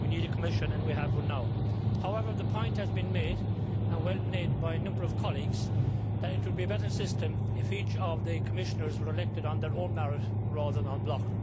We need a Commission, and we have one now. However, the point has been made and well made by a number of colleagues that it would be a better system if each of the Commissioners were elected on their own merits rather than en bloc.